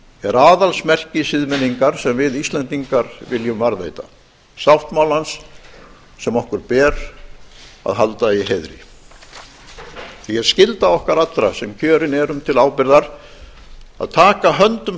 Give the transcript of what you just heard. er aðalsmerki siðmenningar sem við íslendingar viljum varðveita sáttmálans sem okkur ber að halda í heiðri því er skylda okkar allra sem kjörin erum til ábyrgðar að taka höndum